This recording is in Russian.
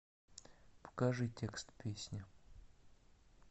покажи текст песни